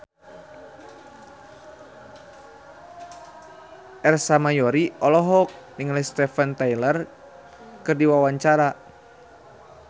Ersa Mayori olohok ningali Steven Tyler keur diwawancara